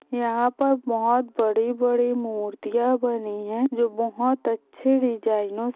यहा पर बहुत बड़ी-बड़ी मूर्तिया बनी है | जो बहुत अच्छे डिज़ाइनर्स --